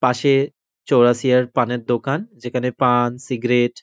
পাশে চৌরাসিয়ার পানের দোকান। যেখানে পান সিগারেট ।